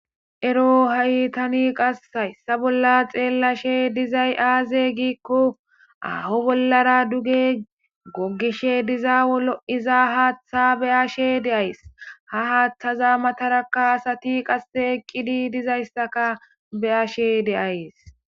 ero haytani qassayssa bolla xeellashe dizay aaze giikko aaho bollara duge gogishe diza wolo7iza haaththa beyashe deays ha haaththaza matarakaasati qasse eqqidi dizayssaka beyashe deays